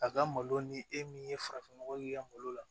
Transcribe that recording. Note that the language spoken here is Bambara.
A ka malo ni e min ye farafin nɔgɔ k'i ka malo la